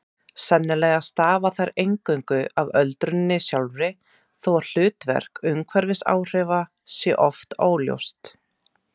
Sennilega stafa þær eingöngu af öldruninni sjálfri þó að hlutverk umhverfisáhrifa sé oft óljóst.